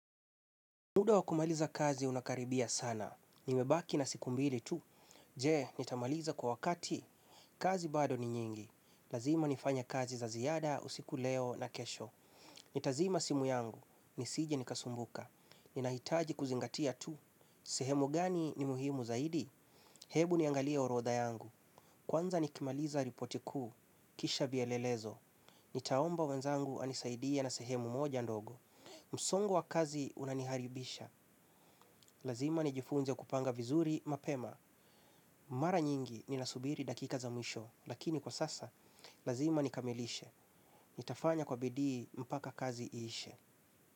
Muda wakumaliza kazi unakaribia sana. Nimebaki na siku mbili tu. Je, nitamaliza kwa wakati? Kazi bado ni nyingi. Lazima nifanye kazi za ziada, usiku leo na kesho. Nitazima simu yangu. Nisije nikasumbuka. Ninahitaji kuzingatia tu. Sehemu gani ni muhimu zaidi? Hebu niangalie orodha yangu. Kwanza nikimaliza ripoti kuu. Kisha vielelezo. Nitaomba wenzangu anisaidia na sehemu moja ndogo. Msongo wa kazi unaniharibisha. Lazima nijifunze kupanga vizuri mapema. Mara nyingi ninasubiri dakika za mwisho. Lakini kwa sasa, lazima nikamilishe. Nitafanya kwa bidii mpaka kazi iishe.